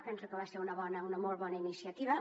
penso que va ser una molt bona iniciativa